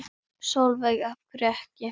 Sólveig: Af hverju ekki?